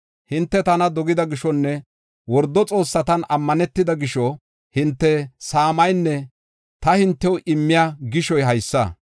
Hinte tana dogida gishonne wordo xoossatan ammanetida gisho hinte saamaynne ta hintew immiya gishoy haysa.